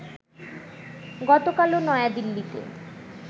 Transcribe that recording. গতকালও নয়াদিল্লিতে